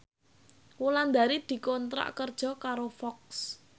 Wulandari dikontrak kerja karo Fox